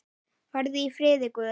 Farðu í friði Guðs.